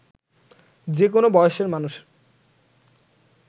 যে কোনো বয়সের মানুষ